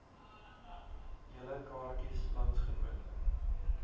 julle kaartjies landsgenote